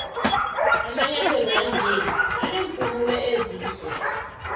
amanyathelo wanje anempumulo ezide